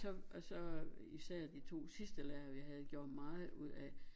Så og så især de to sidste lærere vi havde gjorde meget ud af